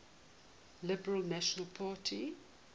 liberal national party